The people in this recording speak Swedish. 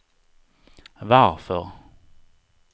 varför